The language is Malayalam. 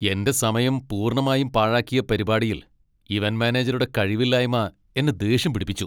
എന്റെ സമയം പൂർണ്ണമായും പാഴാക്കിയ പരിപാടിയിൽ ഇവന്റ് മാനേജരുടെ കഴിവില്ലായ്മ എന്നെ ദേഷ്യം പിടിപ്പിച്ചു .